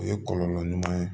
O ye kɔlɔlɔ ɲuman ye